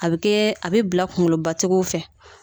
A bɛ kɛ a bɛ bila kunkolobatigiw fɛ